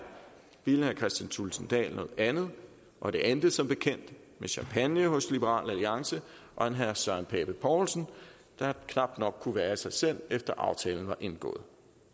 ville herre kristian thulesen dahl noget andet og det endte som bekendt med champagne hos liberal alliance og en herre søren pape poulsen der knap nok kunne være i sig selv efter aftalen var indgået